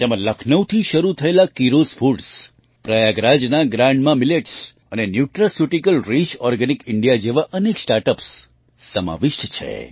તેમાં લખનઉથી શરૂ થયેલા કીરોઝ ફૂડ્સ પ્રયાગરાજના ગ્રાન્ડ માં Milletsઅને ન્યુટ્રાસ્યુટિકલ રિચ ઓર્ગેનિક ઇન્ડિયા જેવાં અનેક સ્ટાર્ટ અપ્સ સમાવિષ્ટ છે